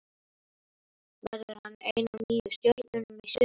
Verður hann ein af nýju stjörnunum í sumar?